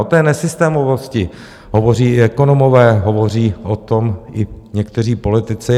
O té nesystémovosti hovoří i ekonomové, hovoří o tom i někteří politici.